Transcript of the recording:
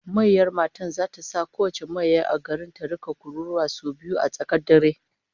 Mayyar matan zata sa kowace mayyar a garin ta rika kururuwa sau biyu a tsakiyar dare